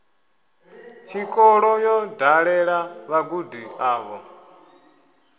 tshikolo yo dalela vhagudi avho